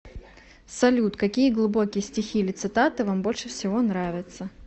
салют какие глубокие стихи или цитаты вам больше всего нравятся